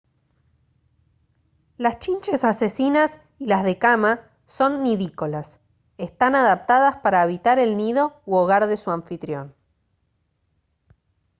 las chinches asesinas y las de cama son nidícolas están adaptadas para habitar el nido u hogar de su anfitrión